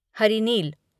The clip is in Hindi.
हरिनील